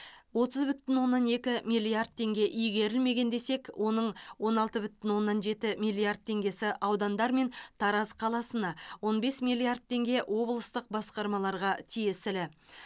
отыз бүтін оннан екі миллиард теңге игерілмеген десек оның он алты бүтін оннан жеті миллиард теңгесі аудандар мен тараз қаласына он бес миллиард теңге облыстық басқармаларға тиесілі